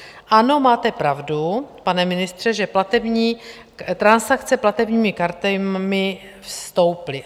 Ano, máte pravdu, pane ministře, že transakce platebními kartami stouply.